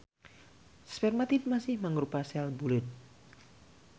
Spermatid masih mangrupa sel buleud.